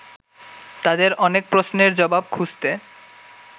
তাঁদের অনেক প্রশ্নের জবাব খুঁজতে